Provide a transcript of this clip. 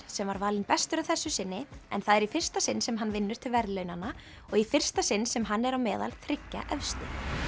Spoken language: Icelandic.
sem var valinn bestur að þessu sinni en það er í fyrsta sinn sem hann vinnur til verðlaunanna og í fyrsta sinn sem hann er á meðal þriggja efstu